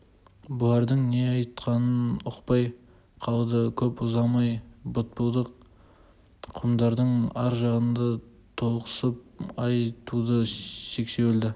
бұлардың не айтқанын ұқпай қалды көп ұзамай бытпылдық құмдардың ар жағынан толықсып ай туды сексеуілді